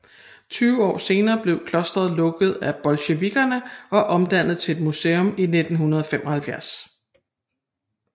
Tyve år senere blev klosteret lukket af bolsjevikkerne og omdannet til et museum i 1975